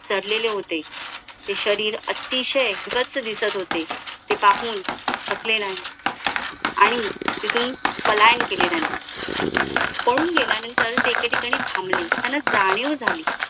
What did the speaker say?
सडलेले होते ते शरीर अतिशय गच्च दिसत होते ते पाहून थकले नाही आणि तिथून पलायन केले नाही पळून गेल्यानंतर ते एके ठिकाणी थांबले त्यांना जाणीव झाली